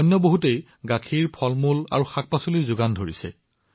কোনোবাই ৰোগীসকললৈ বিনামূলীয়া এম্বুলেন্স সেৱা আগবঢ়াইছে